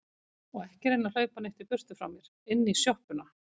Og ekki reyna að hlaupa neitt í burtu frá mér. inn í sjoppuna!